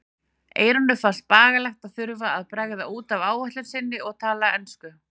Eyrúnu fannst bagalegt að þurfa að bregða út af áætlun sinni og tala ensku.